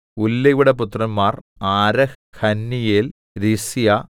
ഉല്ലയുടെ പുത്രന്മാർ Arah Hanniel Rizia